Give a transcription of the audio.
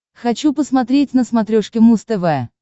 хочу посмотреть на смотрешке муз тв